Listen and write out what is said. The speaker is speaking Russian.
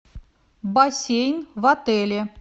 бассейн в отеле